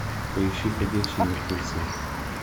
поищи ходячие мертвецы